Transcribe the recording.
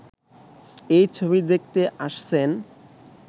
এই ছবি দেখতে আসছেন।